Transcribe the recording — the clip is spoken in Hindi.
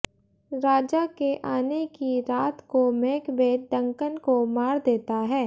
राजा के आने की रात को मैकबेथ डंकन को मार देता है